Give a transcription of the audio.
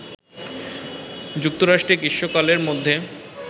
যুক্তরাষ্ট্রে গ্রীষ্মকালের মধ্যে